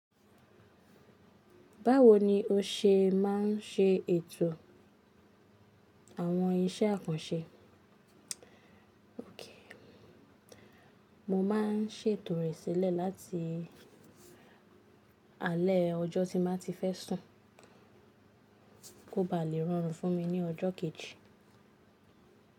Báwo ni o ṣe máa ń se ètò àwọn iṣẹ́ àkànṣe? Mo máabń ṣètò rẹ̀ sílẹ̀ láti alẹ́ ọjọ́ tí n ba ti fẹ́ sùn kó ba lè rọrùn fún mi ní ọjọ́ kejì.